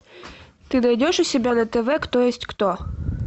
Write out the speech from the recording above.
ты найдешь у себя на тв кто есть кто